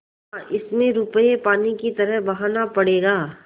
हाँ इसमें रुपये पानी की तरह बहाना पड़ेगा